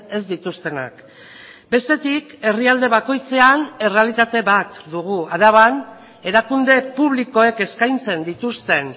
ez dituztenak bestetik herrialde bakoitzean errealitate bat dugu araban erakunde publikoek eskaintzen dituzten